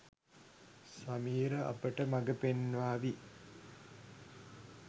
සමීර අපට මගපෙන්වාවි.